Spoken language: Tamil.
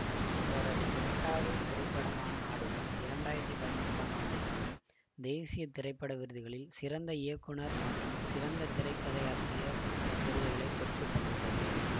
இவரது இரண்டாவது திரைப்படமான ஆடுகளம் இரண்டு ஆயிரத்தி பதினொன்றாம் ஆண்டுக்கான தேசிய திரைப்பட விருதுகளில் சிறந்த இயக்குநர் மற்றும் சிறந்த திரைக்கதையாசிரியர் விருதுகளை பெற்று தந்துள்ளது